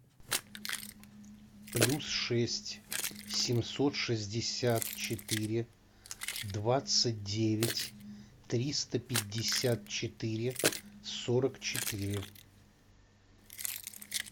плюс шесть семьсот шестьдесят четыре двадцать девять триста пятьдесят четыре сорок четыре